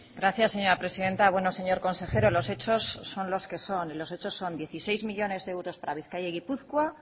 gracias señora presidenta bueno señor consejero los hechos son los que son los hechos son dieciséis millónes de euros para bizkaia y gipuzkoa